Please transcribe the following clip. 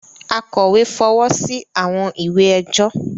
Akọ̀wé fọwọ́ sí àwọn ìwé ẹjọ́